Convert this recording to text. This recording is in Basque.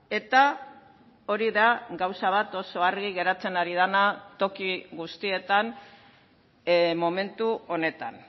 eta hori da gauza bat oso argi geratzen ari dena toki guztietan momentu honetan